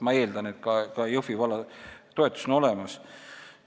Ma eeldan, et ka Jõhvi valla toetus on olemas.